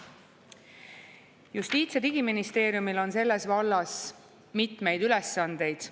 Justiits- ja Digiministeeriumil on selles vallas mitmeid ülesandeid.